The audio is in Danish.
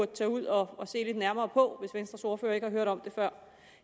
tage ud og se nærmere på hvis venstres ordfører ikke har hørt om det før